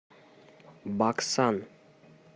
баксан